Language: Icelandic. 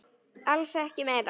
Alls ekki meira.